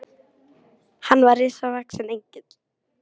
Hann var risavaxinn Engill.